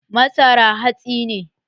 Masara hatsi ne